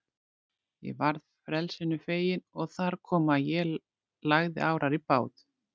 Ég varð frelsinu fegin og þar kom að ég lagði árar í bát.